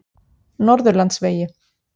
Norðurlandsvegi